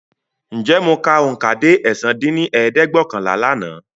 Ǹjẹ́ mọ ka oùnkà dé ẹ̀sán dín ní ẹ̀ẹ́dẹ́gbẹ́ọ̀kànlá lànà?